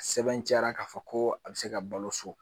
Sɛbɛntiya k'a fɔ ko a bɛ se ka balo so